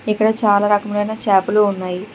ఇక్కడ చాలా రకములైన చేపలు ఉన్నాయి.